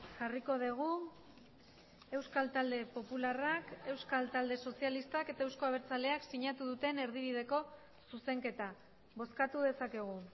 jarriko dugu euskal talde popularrak euskal talde sozialistak eta euzko abertzaleak sinatu duten erdibideko zuzenketa bozkatu dezakegu